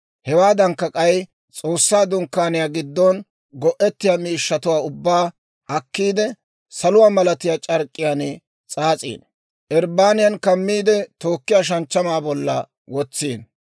Hewaadankka, k'ay S'oossaa Dunkkaaniyaa giddon go'ettiyaa miishshatuwaa ubbaa akkiide, saluwaa malatiyaa c'ark'k'iyaan s'aas'ino; irbbaniyan kammiide, tookkiyaa shanchchamaa bollan wotsino.